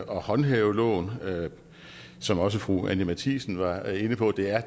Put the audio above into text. og håndhæve loven som også fru anni matthiesen var inde på der er